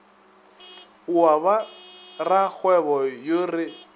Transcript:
wa ba rakgwebo yo re